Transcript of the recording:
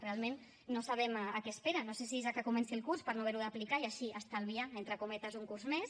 realment no sabem a què esperen no sé si és a que comenci el curs per no haver ho d’aplicar i així estalviar entre cometes un curs més